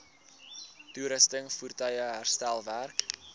toerusting voertuie herstelwerk